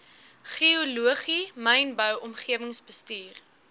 geologie mynbou omgewingsbestuur